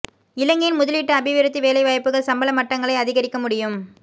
இலங்கையின் முதலீட்டு அபிவிருத்தி வேலைவாய்ப்புகள் சம்பள மட்டங்களை அதிகரிக்க முடியும்